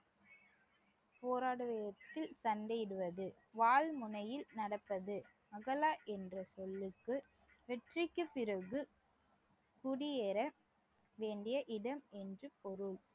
போராடும் விதத்தில் சண்டையிடுவது, வாள் முனையில் நடப்பது அகலா என்ற சொல்லுக்கு வெற்றிக்குப் பிறகு குடியேற வேண்டிய இடம் என்று பொருள்